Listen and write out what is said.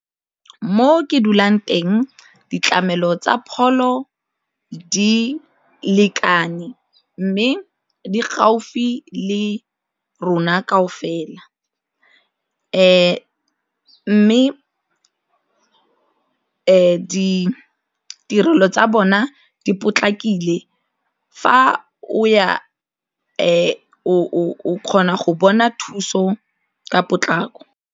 Mo ke dulang teng, ditlamelo tsa pholo di lekane mme di gaufi le rona kaofela mme ditirelo tsa bona di potlakile fa o ya o kgona go bona thuso ka potlako.